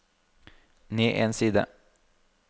ned en side